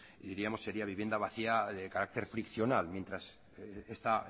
diríamos que sería vivienda vacía de carácter friccional mientras está